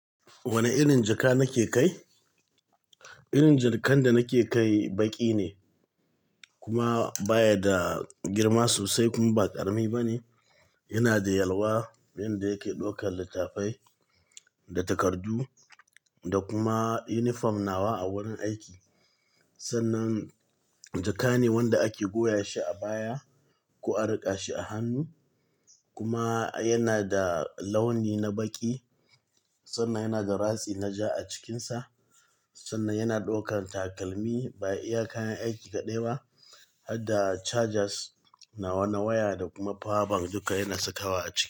Wane irin jaka nake kai? Irin jakan da nake kai baƙi ne kuma baya da girma sosai kuma ba ƙarami ba ne. Yana da yalwa yanda yake ɗaukar littattafai da takardu da kuma yunifom nawa a wurin aiki. Sannan jaka ne wanda ake goya shi a baya ko a riƙa shi a hannu kuma yana da launi na baƙi sannan yana da ratsi na ja a cikinsa. Sannan yana ɗaukar takalmi baya iya kayan aiki kaɗai ba har da chargers nawa, waya da kuma power bank duka yana sakawa a ciki.